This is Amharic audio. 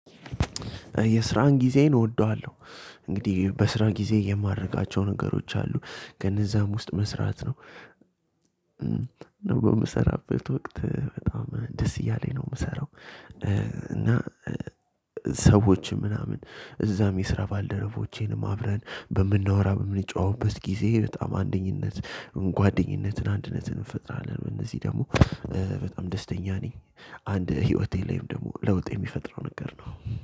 የስራን ጊዜን እወደዋለሁ። እንግዲህ በስራ ጊዜ የማረጋቸው ነገሮች አሉ ከነዛም ውስጥ መስራት ነው። ነው የምሰራበት ወቅት በጣም ደስ እያለኝ ነው የምሰራው እና። ሰዎችም ምናምን እዛም የስራ ባልደረቦቼን አብረን በምናወራ በምንጨዋውበት ጊዜ በጣም አንደኝነት ጓደኝነትን አንድነትን እንፈጥራለን። እነዚህ ደግሞ በጣም ደስተኛ ነኝ። አንድ ሂወቴ ላይም ደሞ ለውጥ የሚፈጥረው ነገር ነው።